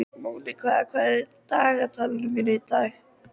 Monika, hvað er á dagatalinu mínu í dag?